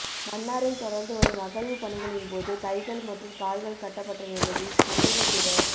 மன்னாரில் தொடர்ந்துவரும் அகழ்வுப் பணிகளின்போது கைகள் மற்றும் கால்கள் கட்டப்பட்ட நிலையில் சந்தேகத்திற